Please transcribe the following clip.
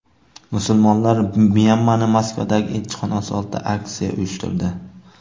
Musulmonlar Myanmaning Moskvadagi elchixonasi oldida aksiya uyushtirdi.